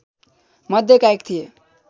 मध्येका एक थिए